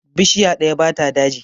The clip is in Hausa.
Bishiya ɗaya ba ta daji.